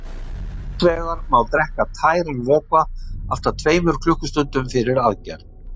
Hins vegar má drekka tæran vökva allt að tveimur klukkustundum fyrir aðgerð.